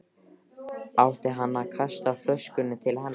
Átti hann að kasta flöskunni til hennar?